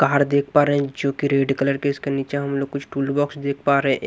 पहाड़ देख पा रहें जो की रेड कलर के इसके नीचे हम लोग कुछ टूलबॉक्स देख पा रहें ए--